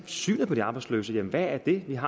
synet på de arbejdsløse jamen hvad er det jeg